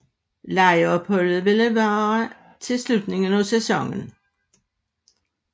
Lejeopholdet ville vare til slutningen af sæsonen